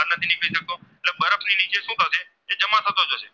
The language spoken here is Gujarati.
માં થતો જોશે